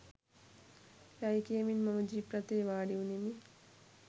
යයි කියමින් මම ජීප් රථයේ වාඩිවුනෙමි.